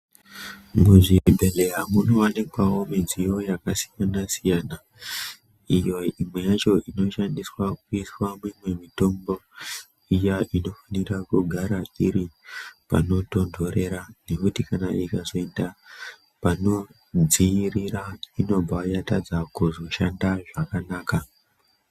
Muzvibhedhleya munowanikwawo midziyo yakasiyana -siyana iyo imwe yacho inoshandiswa kuisa mimwe mitombo iya inofanira kugara iri panotontorera nekuti ikazoita panodziirira inobva yazotadza kushanda zvakanaka.